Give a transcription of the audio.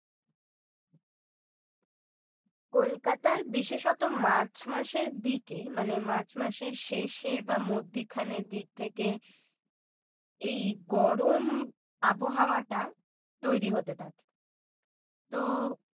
কলকাতায় বিশেষত মার্চ মাসের দিকে মানে মার্চ মাসের শেষে বা মধ্যিখানের দিক থেকে এই গরম আবহাওয়াটা তৈরি হতে থাকে তো